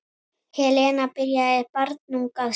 Helena byrjaði barnung að syngja.